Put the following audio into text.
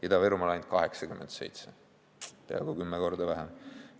, Ida-Virumaal ainult 87, peaaegu kümme korda vähem.